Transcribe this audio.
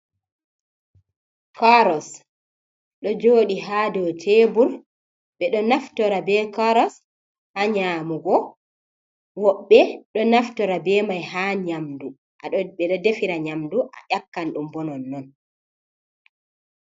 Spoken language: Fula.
Karas ɗo joɗi ha dou tebur. Ɓe do naftora be karas ha nyamugo, woɓɓe do naftora be mai ha nyamdu. Ɓedo defira nyamdu, a ƴakkan ɗum bo nonnon.